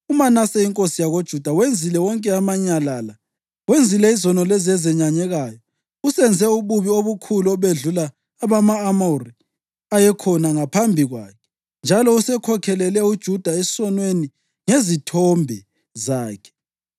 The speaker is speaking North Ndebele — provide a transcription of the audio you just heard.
“UManase inkosi yakoJuda wenzile wonke amanyala la. Wenzile izono lezi ezenyanyekayo. Usenze ububi obukhulu obedlula obama-Amori ayekhona ngaphambi kwakhe, njalo usekhokhelele uJuda esonweni ngezithombe zakhe,